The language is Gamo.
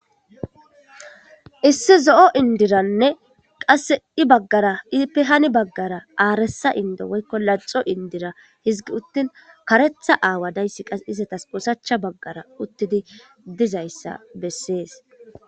issi zo'o indiranne qasse I baggara ippe ha baggara aaressa indo woykko laxo indira hizigi uttin karetha aawa dayssi qas izatas oosachcha baggara uttidi dizayssa bessees